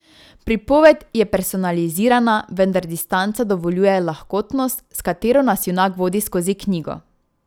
Pripoved je personalizirana, vendar distanca dovoljuje lahkotnost, s katero nas junak vodi skozi knjigo.